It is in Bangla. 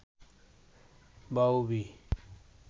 বাউবি